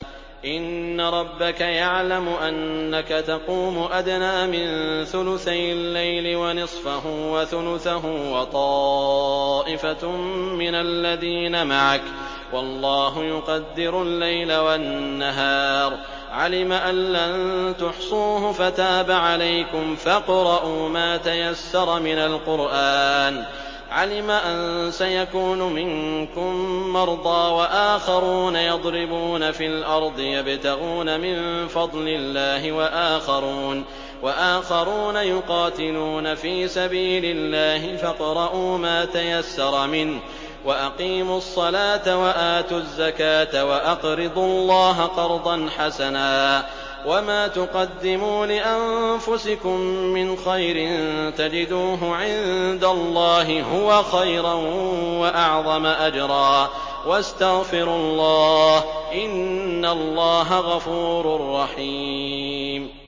۞ إِنَّ رَبَّكَ يَعْلَمُ أَنَّكَ تَقُومُ أَدْنَىٰ مِن ثُلُثَيِ اللَّيْلِ وَنِصْفَهُ وَثُلُثَهُ وَطَائِفَةٌ مِّنَ الَّذِينَ مَعَكَ ۚ وَاللَّهُ يُقَدِّرُ اللَّيْلَ وَالنَّهَارَ ۚ عَلِمَ أَن لَّن تُحْصُوهُ فَتَابَ عَلَيْكُمْ ۖ فَاقْرَءُوا مَا تَيَسَّرَ مِنَ الْقُرْآنِ ۚ عَلِمَ أَن سَيَكُونُ مِنكُم مَّرْضَىٰ ۙ وَآخَرُونَ يَضْرِبُونَ فِي الْأَرْضِ يَبْتَغُونَ مِن فَضْلِ اللَّهِ ۙ وَآخَرُونَ يُقَاتِلُونَ فِي سَبِيلِ اللَّهِ ۖ فَاقْرَءُوا مَا تَيَسَّرَ مِنْهُ ۚ وَأَقِيمُوا الصَّلَاةَ وَآتُوا الزَّكَاةَ وَأَقْرِضُوا اللَّهَ قَرْضًا حَسَنًا ۚ وَمَا تُقَدِّمُوا لِأَنفُسِكُم مِّنْ خَيْرٍ تَجِدُوهُ عِندَ اللَّهِ هُوَ خَيْرًا وَأَعْظَمَ أَجْرًا ۚ وَاسْتَغْفِرُوا اللَّهَ ۖ إِنَّ اللَّهَ غَفُورٌ رَّحِيمٌ